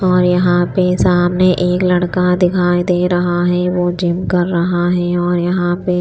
और यहां पे सामने एक लड़का दिखाई दे रहा है वो जिम कर रहा है और यहां पे--